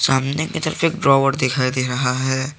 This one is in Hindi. सामने की तरफ एक दिखाई दे रहा है।